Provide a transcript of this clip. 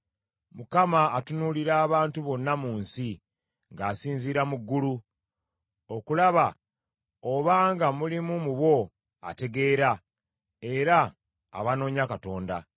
Mukama atunuulira abantu bonna mu nsi ng’asinziira mu ggulu, okulaba obanga mulimu mu bo ategeera, era abanoonya Katonda.